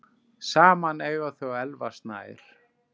Saman eiga þau Elvar Snæ.